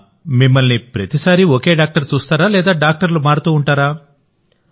మిమ్మల్నిప్రతిసారీ ఒకే డాక్టర్ చూస్తారా లేదా డాక్టర్లు మారుతూ ఉంటారా